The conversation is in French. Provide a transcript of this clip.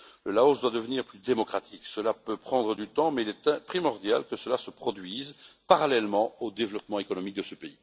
Le Laos doit devenir plus démocratique, cela peut prendre du temps mais il est primordial que cela se produise, parallèlement au développement économique de ce pays.